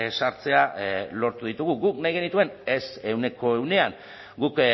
sartzea lortu ditugu guk nahi genituen ez ehuneko ehunean guk